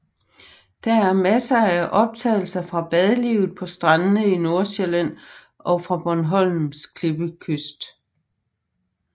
Der er masser af optagelser fra badelivet på strandene i Nordsjælland og fra Bornholms klippekyst